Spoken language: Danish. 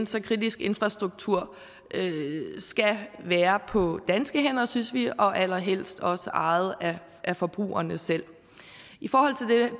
skal kritisk infrastruktur være på danske hænder synes vi og allerhelst også ejet af forbrugerne selv i forhold